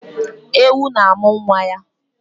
Ewu na-amụ nwa ya.